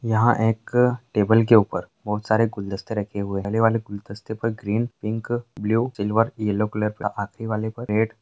यहाँ एक टेबल के ऊपर बहोत सारे गुलदस्ते रखे हुए हैं पहले वाले गुलदस्ते पर green pink blue silver yellow colour का आखरी वाले पर रेड --